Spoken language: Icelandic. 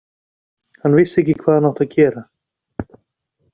Hann vissi ekki hvað hann átti að gera.